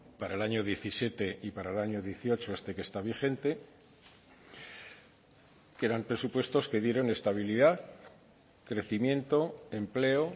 para el año diecisiete y para el año dieciocho este que está vigente que eran presupuestos que dieron estabilidad crecimiento empleo